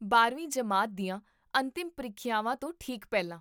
ਬਾਰਵੀਂ ਜਮਾਤ ਦੀਆਂ ਅੰਤਿਮ ਪ੍ਰੀਖਿਆਵਾਂ ਤੋਂ ਠੀਕ ਪਹਿਲਾਂ